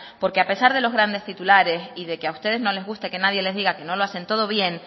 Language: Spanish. porque a pesar de los grandes titulares y de que a ustedes no les gusta que nadie les diga que no lo hacen todo bien